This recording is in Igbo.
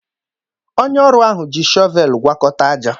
Onye ọrụ ahụ ji shọvel gwakọta ájá.